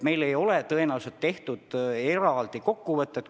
Meil ei ole tõenäoliselt tehtud eraldi kokkuvõtet.